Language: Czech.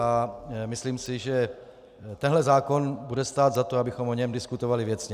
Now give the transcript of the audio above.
A myslím si, že tenhle zákon bude stát za to, abychom o něm diskutovali věcně.